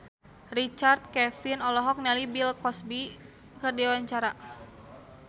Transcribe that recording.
Richard Kevin olohok ningali Bill Cosby keur diwawancara